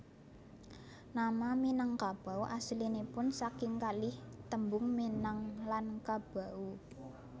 Nama Minangkabau asalipun saking kalih tembung minang lan kabau